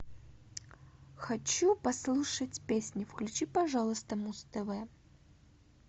хочу послушать песню включи пожалуйста муз тв